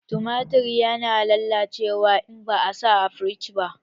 Tumatir ya na lallacewa in ba a sa a firiji ba